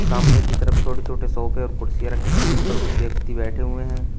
सामने की तरफ छोटे छोटे सोफे और कुर्सियां रखी हैं जिन पर कुछ व्यक्ति बैठे हुए हैं।